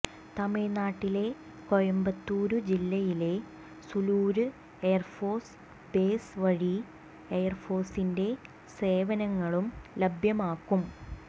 തമിഴ്നാട്ടിലെ കോയമ്പത്തൂര് ജില്ലയിലെ Sulur air force base വഴി എയര്ഫോഴ്സിന്റെ സേവനങ്ങളും ലഭ്യമാക്കും